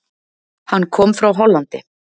Hann kom frá Hollandi.